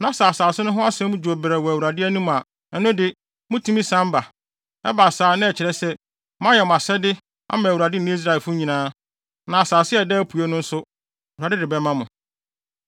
na sɛ asase no ho asɛm dwo brɛoo wɔ Awurade anim a, ɛno de mutumi san ba. Ɛba saa a, na ɛkyerɛ sɛ, moayɛ mo asɛde ama Awurade ne Israelfo nyinaa. Na asase a ɛda apuei no nso, Awurade de bɛma mo.